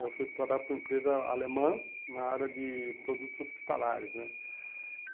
Eu fui trabalhar para uma empresa alemã na área de produtos hospitalares né.